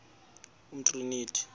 umtriniti